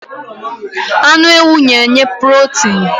Anu ewu n'nye purotin